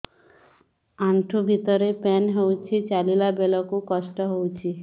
ଆଣ୍ଠୁ ଭିତରେ ପେନ୍ ହଉଚି ଚାଲିଲା ବେଳକୁ କଷ୍ଟ ହଉଚି